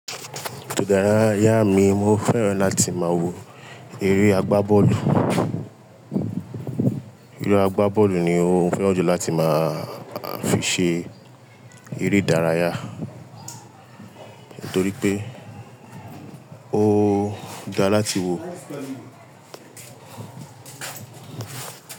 Ìdárayá mi, mo fẹ́ràn láti máa wo eré agbá bọ́ọ̀lù. Eré agbá bọ́ọ̀lù ni mo fẹ́ràn jù láti máa fi ṣe eré ìdárayá torí pé ó dá láti wo.